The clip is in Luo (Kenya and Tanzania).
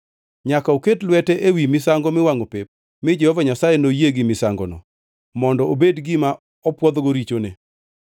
Nyaka oket lwete ewi misango miwangʼo pep, mi Jehova Nyasaye noyie gi misangono mondo obed gima opwodhgo richone.